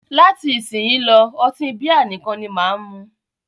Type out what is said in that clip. Láti isísìnyí lọ́, ọtí bíà nìkan ni máà mú.